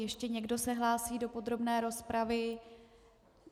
Ještě někdo se hlásí do podrobné rozpravy?